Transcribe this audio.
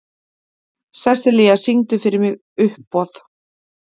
Sessilía, syngdu fyrir mig „Uppboð“.